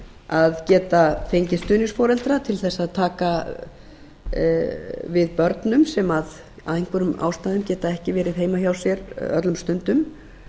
að geta fengið stuðningsforeldra til þess að taka við börnum sem af einhverjum ástæðum geta ekki verið heima hjá sér öllum stundum